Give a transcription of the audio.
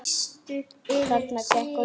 Þarna gekk á ýmsu.